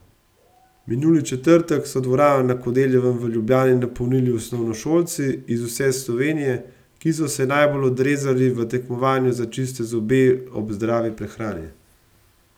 Minuli četrtek so dvorano na Kodeljevem v Ljubljani napolnili osnovnošolci iz vse Slovenije, ki so se najbolje odrezali v tekmovanju za čiste zobe ob zdravi prehrani.